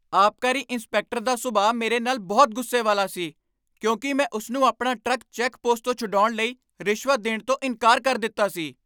ਆਬਕਾਰੀ ਇੰਸਪੈਕਟਰ ਦਾ ਸੁਭਾਅ ਮੇਰੇ ਨਾਲ ਬਹੁਤ ਗੁੱਸੇ ਵਾਲਾ ਸੀ ਕਿਉਂਕਿ ਮੈਂ ਉਸ ਨੂੰ ਆਪਣਾ ਟਰੱਕ ਚੈੱਕ ਪੋਸਟ ਤੋਂ ਛੁਡਾਉਣ ਲਈ ਰਿਸ਼ਵਤ ਦੇਣ ਤੋਂ ਇਨਕਾਰ ਕਰ ਦਿੱਤਾ ਸੀ।